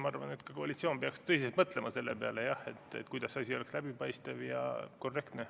Ma arvan, et ka koalitsioon peaks tõsiselt mõtlema selle peale, kuidas see asi oleks läbipaistev ja korrektne.